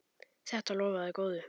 Þetta lofaði góðu.